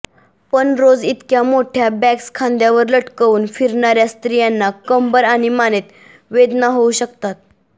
पण रोज इतक्या मोठ्या बॅग्स खांद्यावर लटकवून फिरणार्या स्त्रियांना कंबर आणि मानेत वेदना होऊ शकतात